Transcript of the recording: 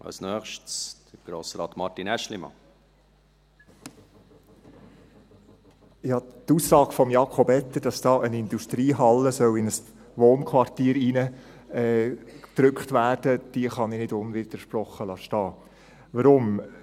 Ich kann die Aussage von Jakob Etter, dass da eine Industriehalle in ein Wohnquartier hineingedrückt wird, nicht unwidersprochen stehen lassen.